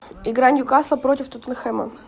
игра ньюкасл против тоттенхэма